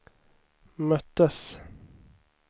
möttes